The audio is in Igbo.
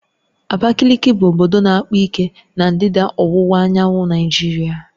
Abakaliki bụ obodo na-akpa ike na ndịda ọwụwa anyanwụ Naịjirịa